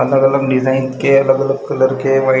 अलग-अलग डिजाइन के अलग-अलग कलर के व्हाइट --